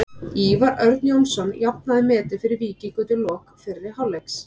Ívar Örn Jónsson jafnaði metin fyrir Víking undir lok fyrri hálfleiks.